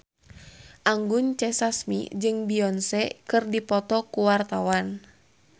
Anggun C. Sasmi jeung Beyonce keur dipoto ku wartawan